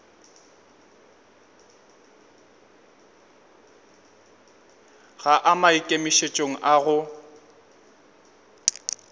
ga a maikemišetšong a go